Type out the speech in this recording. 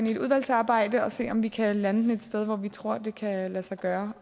i et udvalgsarbejde og se om vi kan lande den et sted hvor vi tror det kan lade sig gøre